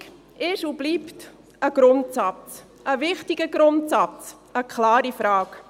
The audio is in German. Die Ausbildung ist und bleibt ein Grundsatz – ein wichtiger Grundsatz, das ist eine klare Frage.